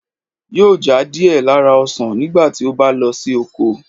yóò já díẹ̀ lára ​​ọsan nígbà tí ó bá lọ sí oko.